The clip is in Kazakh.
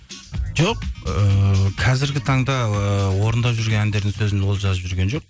жоқ ііі қазіргі таңда ііі орындап жүрген әндердің сөзін ол жазып жүрген жоқ